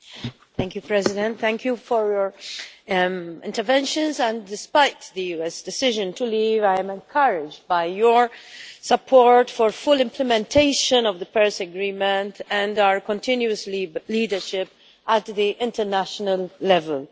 Madam President, I thank everyone for their interventions, and despite the US decision to leave, I am encouraged by their support for full implementation of the Paris Agreement and our continuous leadership at international level.